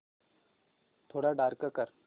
थोडा डार्क कर